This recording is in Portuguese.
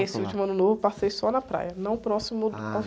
passou lá?sse último Ano Novo eu passei só na praia, não próximo do, ao